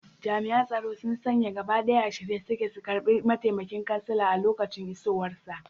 Jami'an tsaro sun sanye gaba ɗaya, a shirye suke su karbi mataimakin kansala a lokacin isowarsa.